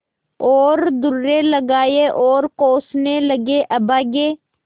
और दुर्रे लगाये और कोसने लगेअभागे